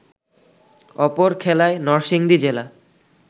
অপর খেলায় নরসিংদী জেলা